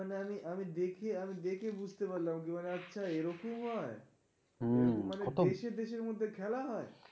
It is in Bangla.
মানে আমি আমি দেখে আমি দেখে বুঝতে পারলাম. যে ওরা আচ্ছা এরকম হয়? মানে দেশে দেশের মধ্যে খেলা হয়?